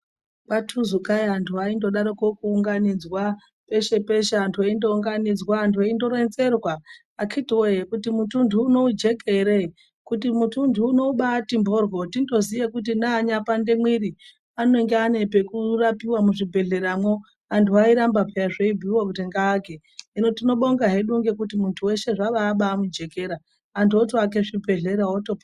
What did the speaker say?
Kwatuzukai antu andodaroko kuunganidzwa pashe-peshe antu eindounganidzwa antu eindoronzerwa. Akhiti voye kuti mutunhu uno ujeke ere kuti muntunhu uno ubati mhoryo tindoziye kuti neanyapande mwiri anonge ane pakurapiva muzvibhedhleramwo. Antu airamba peya zveibhuiva kuti muntu ngaake. Hino tinobonga hedu ngekuti muntu zvabamujekera antu otoake zvibhedhlera otopona.